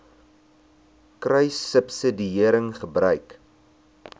kruissubsidiëringgebruik